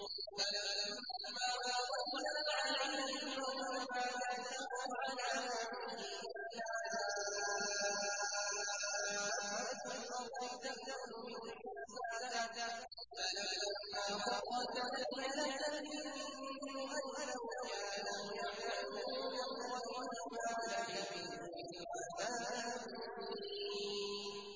فَلَمَّا قَضَيْنَا عَلَيْهِ الْمَوْتَ مَا دَلَّهُمْ عَلَىٰ مَوْتِهِ إِلَّا دَابَّةُ الْأَرْضِ تَأْكُلُ مِنسَأَتَهُ ۖ فَلَمَّا خَرَّ تَبَيَّنَتِ الْجِنُّ أَن لَّوْ كَانُوا يَعْلَمُونَ الْغَيْبَ مَا لَبِثُوا فِي الْعَذَابِ الْمُهِينِ